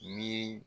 Ni